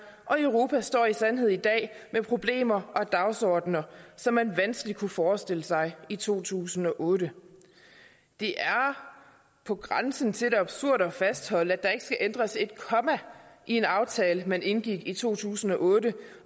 og europa står i sandhed i dag med problemer og dagsordener som man vanskeligt kunne forestille sig i to tusind og otte det er på grænsen til det absurde at fastholde at der ikke skal ændres et komma i en aftale man indgik i to tusind og otte